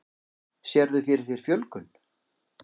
Sérðu fyrir þér fjölgun?